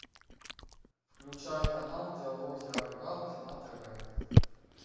включай канал диалоги о рыбалке на тв